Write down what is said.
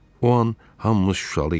O an hamımız şuşalı idik.